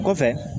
Kɔfɛ